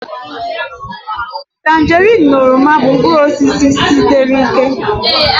Tanjerin na oroma bụ mkpụrụ osisi sitriki